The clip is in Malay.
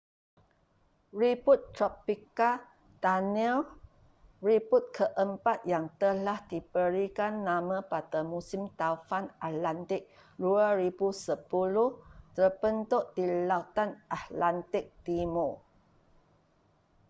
ribut tropika danielle ribut keempat yang telah diberikan nama pada musim taufan atlantik 2010 terbentuk di lautan atlantik timur